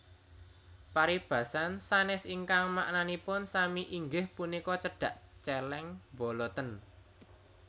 Paribasan sanès ingkang maknanipun sami inggih punika Cedhak cèlèng boloten